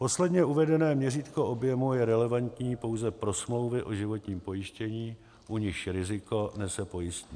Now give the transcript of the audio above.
Posledně uvedené měřítko objemu je relevantní pouze pro smlouvy o životním pojištění, u nichž riziko nese pojistník.